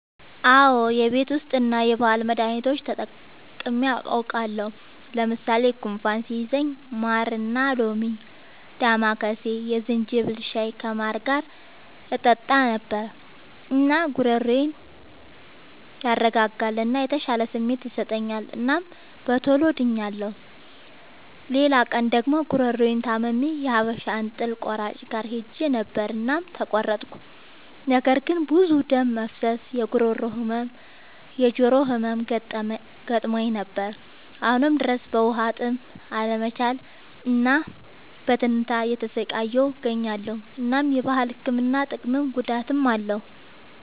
አዎ የቤት ዉስጥ እና የባህል መዳኒቶች ተጠቅሜ አዉቃለሁ። ለምሳሌ፦ ጉንፋን ሲይዘኝ ማርና ሎሚ፣ ዳማከሴ፣ የዝንጅብል ሻይ ከማር ጋር እጠጣ ነበር። እናም ጉሮሮዬን ያረጋጋል እና የተሻለ ስሜት ይሰጠኛል እናም በቶሎ ድኛለሁ። ሌላ ቀን ደግሞ ጉሮሮየን ታምሜ የሀበሻ እንጥል ቆራጭ ጋር ሄጀ ነበር እናም ተቆረጥኩ። ነገር ግን ብዙ ደም መፍሰስ፣ የጉሮሮ ህመም፣ የጆሮ ህመም ገጥሞኝ ነበር። አሁንም ድረስ በዉሀጥም አለመቻል እና በትንታ እየተሰቃየሁ እገኛለሁ። እናም የባህል ህክምና ጥቅምም ጉዳትም አለዉ።